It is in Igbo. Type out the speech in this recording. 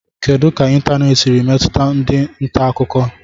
Kedu ka ịntanètị siri metụta ndị nta akụkọ